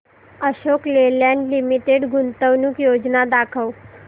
Ashok Leyland limited गुंतवणूक योजना दाखव